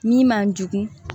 Min man jugu